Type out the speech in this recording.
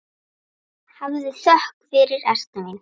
Hafðu þökk fyrir, Erna mín.